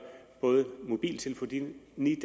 både mobiltelefonidækning